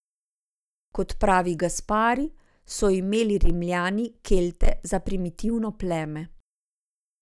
Kot pravi Gaspari, so imeli Rimljani Kelte za primitivno pleme.